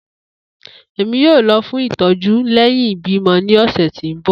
Emi yoo lọ fun itọju lẹhin ibimọ ni ọsẹ ti n bọ.